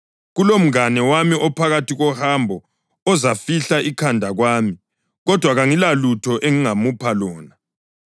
kulomngane wami ophakathi kohambo ozofihla ikhanda kwami, kodwa kangilalutho engingamupha lona.’